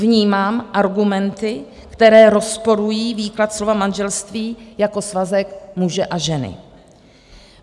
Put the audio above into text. Vnímám argumenty, které rozporují výklad slova manželství jako svazek muže a ženy.